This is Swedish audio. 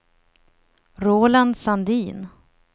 Roland Sandin